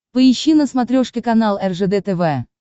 поищи на смотрешке канал ржд тв